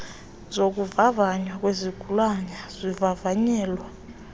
zokuvavanywa kwezigulane zivavanyelwa